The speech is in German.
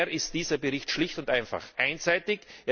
Daher ist dieser Bericht schlicht und einfach einseitig.